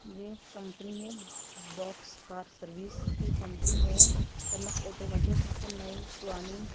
ये कंपनी है box car service की कंपनी है कनक ऑटोमेटिक यहां पे नई पुरानी --